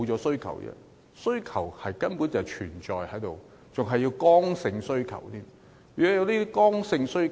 需求根本一直存在，而且更是剛性需求。